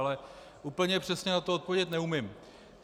Ale úplně přesně na to odpovědět neumím.